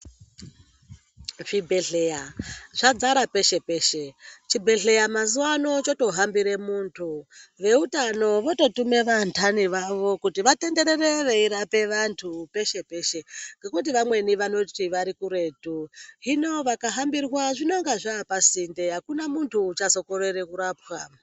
Zvibhehleya zvadzara peshe-peshe chibhehleya mazuwa ano choto hambire muntu veutano vototume vanhani vavo kuti vatenderere veirape vantu peshe-peshe ngekuti vamweni vanoti varikuretu hino vakahambirwa zvinonga zvapasinde akuna munhu uchazokorere kurapwa.